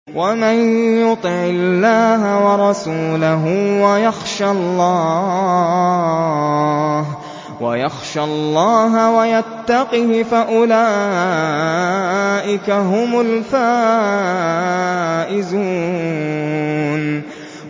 وَمَن يُطِعِ اللَّهَ وَرَسُولَهُ وَيَخْشَ اللَّهَ وَيَتَّقْهِ فَأُولَٰئِكَ هُمُ الْفَائِزُونَ